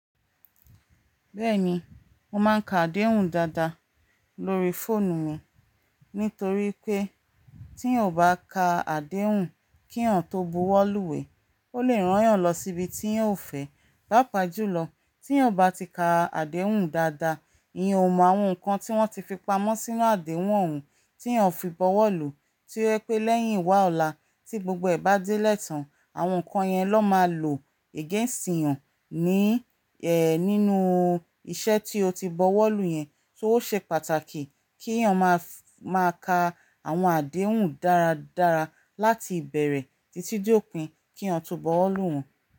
Bẹ́ẹ̀ni, mo máa ń ka àdéhùn dáadáa lórí fóònù mi, nítorí pé teeyan ò bá ka àdéhùn kíyan tó buwọ́ lúwèé, ó lè rán yàn lọ síbi tíyan o fẹ́. Pápaa jùlọ, tí n ò bá ti ka àdéhùn dáadáa, ìyan o mọ àwọn nǹkan tí wọ́n ti fi pamọ́ sínú àdéhùn ọ̀ún tíyàn fi buwọ́ lù. To ye pé lẹ́yìn wá ọ̀la tí gbogbo ẹ̀ bá déle tàn, àwọn nǹkan yẹn lón máa lò against eeyàn ní, ẹ́, nínú iṣẹ́ tí o ti buwọ́ lù yẹn. So ó ṣe pàtàkì kíyàn máa f, máa ka àwọn àdéhùn dáradára láti ìbẹ̀rẹ̀ títí de òpin kí yàn tó buwọ́ lù wọ́n.